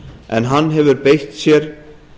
en hann hefur beitt sér